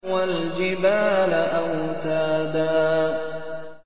وَالْجِبَالَ أَوْتَادًا